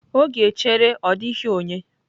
Oge echere ọ dịghị onye.